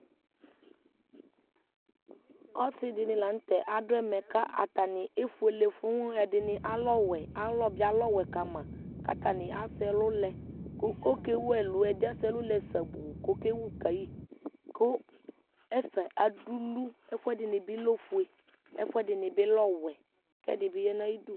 osidini lanu tɛ adu ɛmɛ ,ku atani efuele fũuu, ɛdini alɛ ɔwɛ Alɔ bi alɛ ɔwɛ kamaku atani asɛ ɛlu lɛku ɔkewu ɛlu; ɛdi asɛ ɛlu lɛ sabuu ku akewu kayi ku ɛfɛ adulu ɛfu ɛdini bi lɛ ofue , ɛfu ɛdini bi lɛ ɔwɛ ku ɛdi bi yanu ayiʋ idu